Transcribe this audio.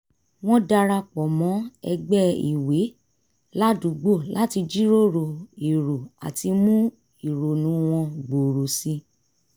wọ́n dara pọ̀ mọ́ ẹgbẹ́ ìwé ládùúgbò láti jíròrò èrò àti mú ìrònú wọn gbòòrò sí i